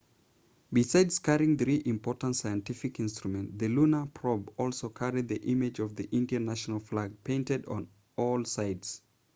besides carrying three important scientific instruments the lunar probe also carried the image of the indian national flag painted on all sides